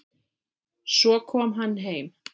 Svo kom hann heim.